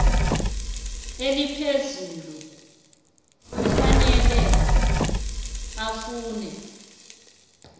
eliphezulu kufanele afune